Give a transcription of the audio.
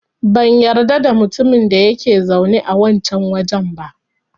Ban yarda da mutumin da yake zaune a wancan wajen ba.